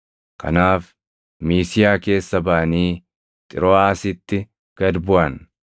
Kanaaf Miisiyaa keessa baʼanii Xirooʼaasitti gad buʼan.